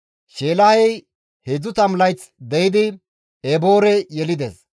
Sheelahey 30 layth de7idi Eboore yelides;